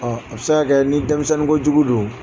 a bɛ se ka kɛ ni denmisɛnnin kojugu do.